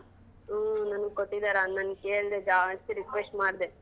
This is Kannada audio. ಹ್ಮ್ ನನಿಗ್ ಕೊಟ್ಟಿದಾರೆ ಅಣ್ಣನ್ ಕೇಳ್ದೆ ಜಾಸ್ತಿ request ಮಾಡ್ದೆ.